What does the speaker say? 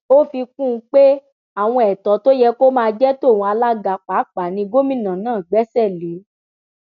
ó fi kún un pé àwọn ètò tó yẹ kó máa jẹ tòun alága pàápàá ni gómìnà náà gbéṣẹ lé